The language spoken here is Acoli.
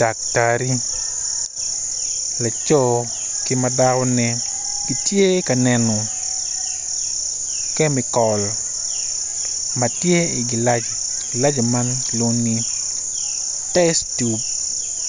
Daktari laco ki ma dakone gitye ka neno kemikol ma tye i gilaci ma kilwongo ni test tube